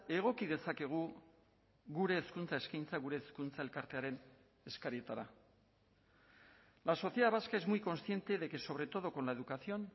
egoki dezakegu gure hezkuntza eskaintza gure hezkuntza elkartearen eskarietara la sociedad vasca es muy consciente de que sobre todo con la educación